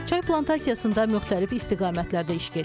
Çay plantasiyasında müxtəlif istiqamətlərdə iş gedir.